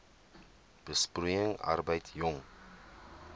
besproeiing arbeid jong